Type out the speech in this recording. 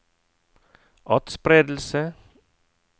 atspredelse